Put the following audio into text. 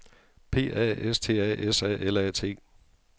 P A S T A S A L A T